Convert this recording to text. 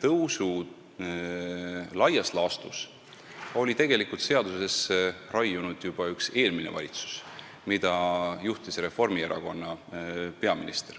tõusud oli tegelikult laias laastus seadusesse raiunud juba üks eelmine valitsus, mida juhtis Reformierakonna peaminister.